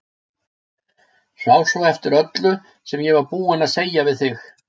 Sá svo eftir öllu sem ég var búin að segja við þig.